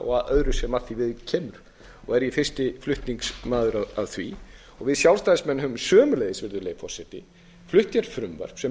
og öðru sem því við kemur og er ég fyrsti flutningsmaður að því og við sjálfstæðismenn höfum sömuleiðis flutt frumvarp sem